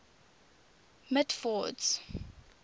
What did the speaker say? mitford's